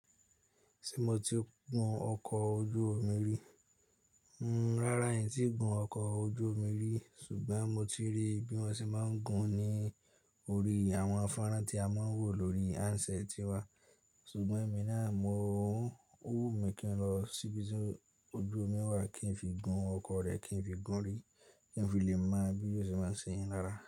Ṣé mo ti gun ọkọ̀ ojú omi rí? N-n, rárá, èmi kì í gun ọkọ̀ ojú omi rí, ṣùgbọ́n mo ti rí bí wọ́n ṣe máa ń gun ní orí àwọn fánrán tí a máa ń wò lórí handset tiwa. Ṣùgbọ́n èmi náà, mo ń, ó wù mí kí n lọ síbi tí ojú omi wà kí n fi gun ọkọ̀ rẹ, kí n fi gún ún rí, kí n fi lè mọ bí ó ṣe máa ṣe yín lára.